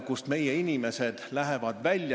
Kolm minutit lisaaega!